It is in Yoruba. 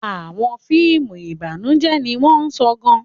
Àwọn fíìmù ìbànújẹ́ ni wọ́n sọ gan-an.